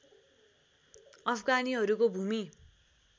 अफगानीहरूको भूमि